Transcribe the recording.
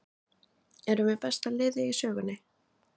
Erum við besta liðið í sögunni?